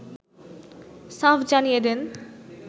সাফ জানিয়ে দেন